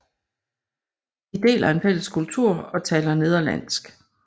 De deler en fælles kultur og taler nederlandsk